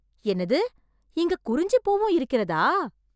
என்னது, இங்க குறிஞ்சி பூவும் இருக்கிறதா!